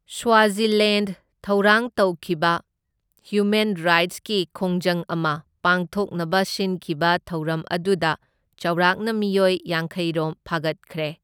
Swaziland ꯊꯧꯔꯥꯡ ꯇꯧꯈꯤꯕ human ꯔꯥꯏꯠꯁꯀꯤ ꯈꯣꯡꯖꯪ ꯑꯃ ꯄꯥꯡꯊꯣꯛꯅꯕ ꯁꯤꯟꯈꯤꯕ ꯊꯧꯔꯝ ꯑꯗꯨꯗ ꯆꯥꯎꯔꯥꯛꯅ ꯃꯤꯑꯣꯏ ꯌꯥꯡꯈꯩꯔꯣꯝ ꯐꯥꯒꯠꯈ꯭ꯔꯦ꯫